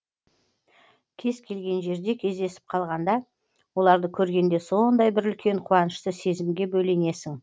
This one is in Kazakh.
кез келген жерде кездесіп қалғанда оларды көргенде сондай бір үлкен қуанышты сезімге бөленесің